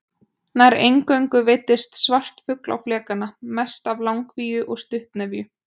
Nær eingöngu veiddist svartfugl á flekana, mest af langvíu og stuttnefju.